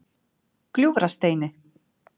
Gljúfrasteini